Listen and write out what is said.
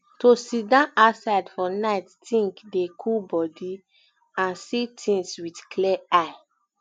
to sidon outside for nite think dey cool body and see things with clear eye